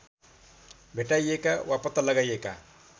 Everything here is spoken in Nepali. भेटाइएका वा पत्ता लगाइएका